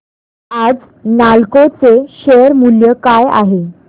आज नालको चे शेअर मूल्य काय आहे